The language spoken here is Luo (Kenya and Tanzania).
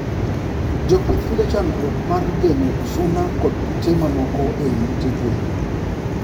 Jopih yudo chandruok mar gengo suna kod kute mamoko eiy ute gwen